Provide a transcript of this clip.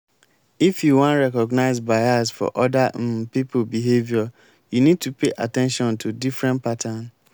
if you wan recognize bias for oda um pipo behavior you need to pay at ten tion to different pattern